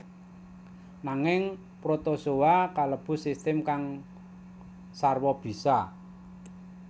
Nanging protozoa kalebu sistem kang sarwa bisa